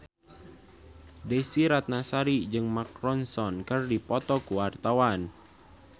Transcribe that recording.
Desy Ratnasari jeung Mark Ronson keur dipoto ku wartawan